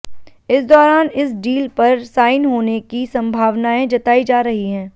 इस दाैरान इस डील पर साइन होने की संभावनाएं जताई जा रही हैं